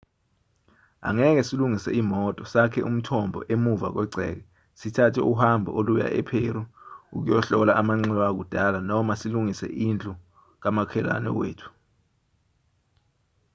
angeke silungise imoto sakhe umthombo emuva kwegceke sithathe uhambo oluya epheru ukuyohlola amanxiwa akudala noma silungise indlu kamakhelwane wethu